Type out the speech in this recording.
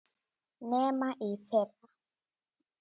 Nema í fyrra.